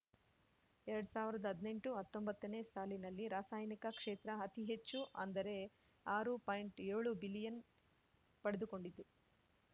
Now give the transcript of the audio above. ಎರಡ್ ಸಾವಿರ್ದಾ ಹದ್ನೆಂಟುಹತ್ತೊಂಬತ್ತನೇ ಸಾಲಿನಲ್ಲಿ ರಾಸಾಯನಿಕ ಕ್ಷೇತ್ರ ಅತಿ ಹೆಚ್ಚು ಅಂದರೆ ಆರು ಪಾಯಿಂಟ್ಯೋಳು ಬಿಲಿಯನ್ ಪಡ್ದುಕೊಂಡಿದ್ದು